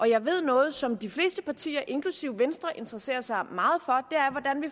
jeg ved noget som de fleste partier inklusive venstre interesserer sig meget